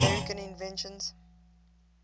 american inventions